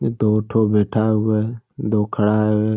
ये दो ठो बैठा हुआ है दो खड़ा है।